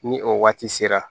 Ni o waati sera